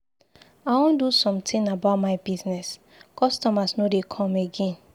I wan do something about my business. Customers no dey come again.